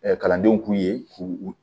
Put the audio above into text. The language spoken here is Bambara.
kalandenw k'u ye k'u